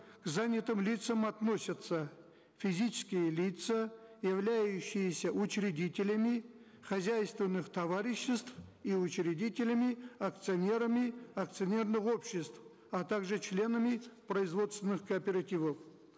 к занятым лицам относятся физические лица являющиеся учредителями хозяйственных товариществ и учредителями акционерами акционерных обществ а также членами производственных кооперативов